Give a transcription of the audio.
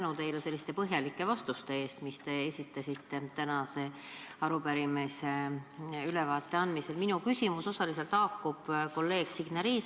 Suur tänu teile põhjalike vastuste eest, mis te tänase arupärimisega seotud ülevaate puhul andud olete!